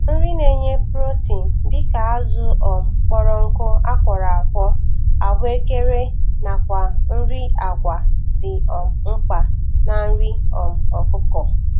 Nri na-enye protein dịka azụ um kpọrọ nkụ akworọ akwo, ahụekere nakwa nri agwa dị um mkpa na nri um ọkụkọ